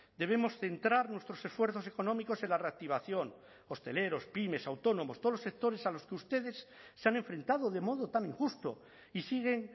debemos centrar nuestros esfuerzos económicos en la reactivación hosteleros pymes autónomos todos los sectores a los que ustedes se han enfrentado de modo tan injusto y siguen